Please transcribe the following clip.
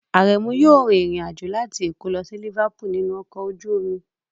Aremu yóò rin ìrìn àjò láti Èkó lọ sí Liverpool nínú ọkọ̀ ojú omi